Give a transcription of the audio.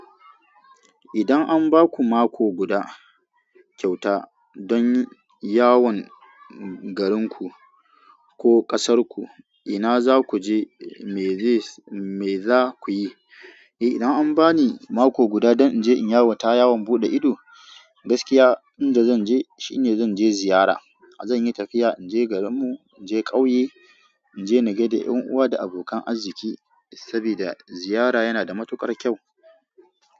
Idan an ba ku mako guda kyauta don yawon garinku ko ƙasarku, ina za ku je, me za ku yi? Eh, idan an ba ni mako guda don in je in yawan, ta yawon buɗe ido, gaskiya inda zan je shine zan je ziyara. Zan yi tafiya in je garinmu, in je ƙauye, in je in na gaida 'yan uwa da abokan arziki, saboda ziyara yana da matukar kyau.